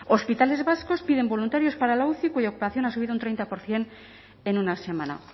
hospitales vascos piden voluntarios para la uci cuya ocupación ha subido un treinta por ciento en una semana